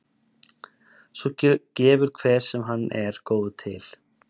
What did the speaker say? Svo gefur hver sem hann er góður til.